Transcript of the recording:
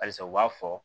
Halisa u b'a fɔ